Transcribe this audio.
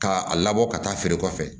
K'a labɔ ka taa feere kɔfɛ